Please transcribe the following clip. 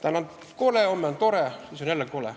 Täna on kole, homme on tore, siis on jälle kole.